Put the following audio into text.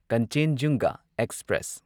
ꯀꯟꯆꯦꯟꯖꯨꯡꯒ express